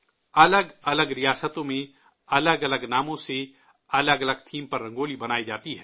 الگ الگ ریاستوں میں الگ الگ ناموں سے، الگ الگ تھیم پر رنگولی بنائی جاتی ہے